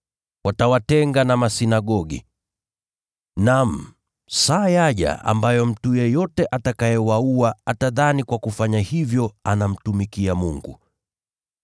Watawatenga na masinagogi. Naam, saa yaja ambayo mtu yeyote atakayewaua atadhani kwa kufanya hivyo anamtumikia Mungu.